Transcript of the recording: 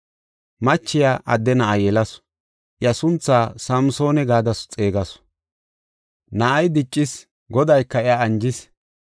Machiya adde na7a yelasu; iya sunthaa Samsoona gada xeegasu. Na7ay diccis; Godayka iya anjis.